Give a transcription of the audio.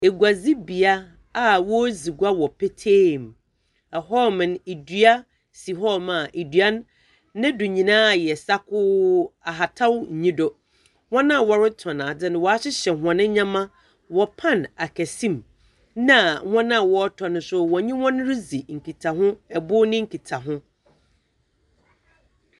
Eguadzi bea a wɔredzi gua wɔ petee mu, ɛhɔ nom nua, dua si hɔ nom a dua no do nyina ayɛ sakoo, ahataw nnyi do. Hɔn a wɔretɔn adze no wɔahyehyɛ hɔn ndzɛmba wɔ pan akɛse mu, na hɔn a wɔretɔ no nso wɔnye hɔn ridzi nkitaho bo no nkitaho.